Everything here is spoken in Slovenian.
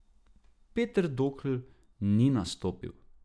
Peter Dokl ni nastopil.